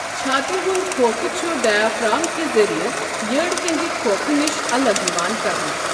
چھاتہِ ہُنٛد کھوکھہٕ چھُ ڈَیافارَم کہِ ذریعہٕ یٔڈ ہنٛدِ کھوکھہٕ نِش الگ یِوان کرنہٕ۔